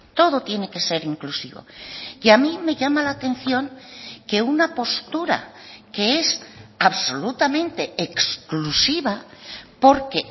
todo tiene que ser inclusivo y a mí me llama la atención que una postura que es absolutamente exclusiva porque